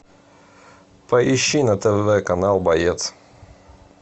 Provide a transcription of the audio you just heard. поищи на тв канал боец